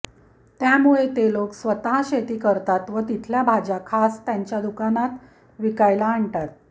त्यामूळे ते लोक स्वतः शेती करतात व तिथल्या भाज्या खास त्यांच्या दुकानात विकायला आणतात